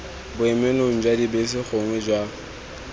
boemelong jwa dibese gongwe jwa